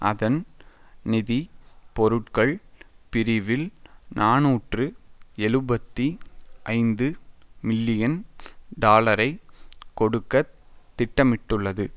அதன் நிதி பொருட்கள் பிரிவில் நாநூற்று எழுபத்தி ஐந்து மில்லியன் டாலரை கொடுக்க திட்டமிட்டுள்ளது